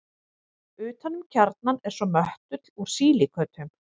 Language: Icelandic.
Utan um kjarnann er svo möttull úr sílíkötum.